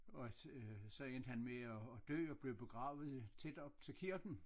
Og øh så endte han med at dø og blev begravet tæt oppe til kirken